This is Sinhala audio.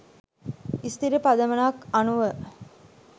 ස්ථිර පදනමක් අනුව